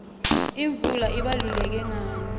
imvula ibaluleke ngani